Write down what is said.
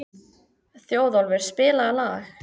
Þjóðólfur, spilaðu lag.